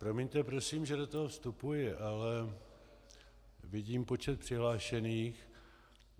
Promiňte, prosím, že do toho vstupuji, ale vidím počet přihlášených.